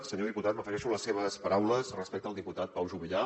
senyor diputat m’afegeixo a les seves paraules respecte al diputat pau juvillà